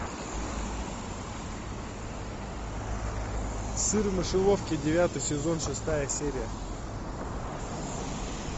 сыр в мышеловке девятый сезон шестая серия